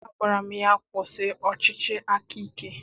Agwara m ya, kwụsị ọchịchị aka ike!